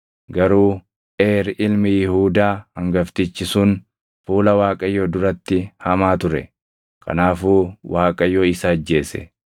Garuu Eer ilmi Yihuudaa hangaftichi sun fuula Waaqayyoo duratti hamaa ture; kanaafuu Waaqayyo isa ajjeese.